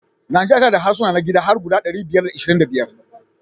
Nijeriya tana da harsuna na gida har guda ɗari biyar da ashirin da biya